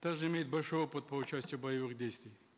также имеет большой опыт по участию в боевых действиях